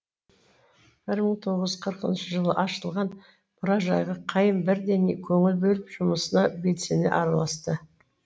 бір мың тоғыз жүз қырқыншы жылы ашылған мұражайға қайым бірден көңіл бөліп жұмысына белсене араласты